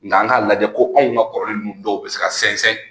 Nga an k'a lajɛ ko anw ka kɔrɔlen ninnu dɔw bɛ se ka sɛnsɛn